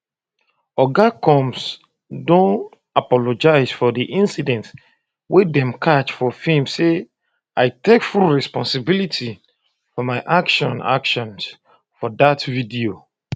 oga combs bifor don apologise for di incident wey dem catch for film say i take full responsibility for my actions actions for dat video